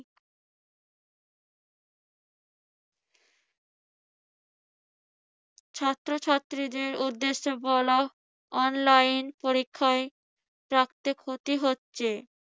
ছাত্রছাত্রীদের উদ্দেশ্যে বলা online পরীক্ষায় ক্ষতি হচ্ছে।